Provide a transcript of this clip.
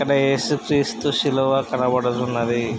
ఇక్కడ ఏసు క్రీస్తు సిలువ కనబడుతున్నది.